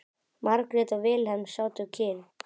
Margrét og Vilhelm sátu kyrr.